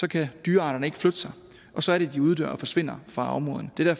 kan dyrearterne ikke flytte sig og så er det at de uddør og forsvinder fra områderne det er